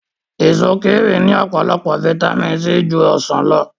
Èso kíwì ní ọ̀pọ̀lọpọ̀ fitamíìnì C ju ọsàn lọ